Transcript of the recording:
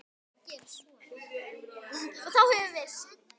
Og þá höfum við það.